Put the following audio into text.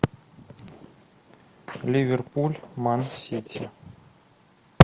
ливерпуль мансити